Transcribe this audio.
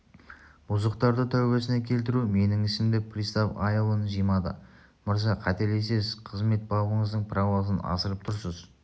бұзықтарды тәубасына келтіру менің ісім деп пристав айылын жимады мырза қателесесіз қызмет бабыңыздың правосын асырып тұрсыз